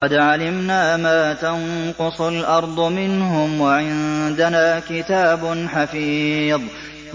قَدْ عَلِمْنَا مَا تَنقُصُ الْأَرْضُ مِنْهُمْ ۖ وَعِندَنَا كِتَابٌ حَفِيظٌ